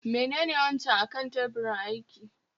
Menene wancan akan tebirin aiki?